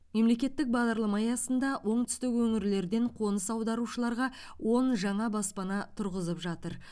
мемлекеттік бағдарлама аясында оңтүстік өңірлерден қоныс аударушыларға он жаңа баспана тұрғызып жатыр